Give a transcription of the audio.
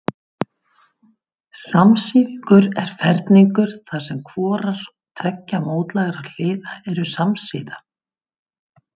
Samsíðungur er ferhyrningur þar sem hvorar tveggja mótlægra hliða eru samsíða.